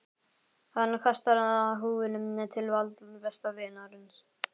Hann kastar húfunni til Valda, besta vinarins.